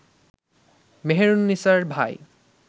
মেহেরুননিসার ভাই